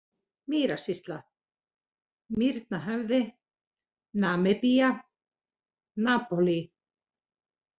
Mýrasýsla, Mýrnahöfði, Namibía, Napólí